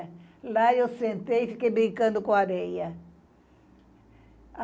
Lá eu sentei e fiquei brincando com a areia.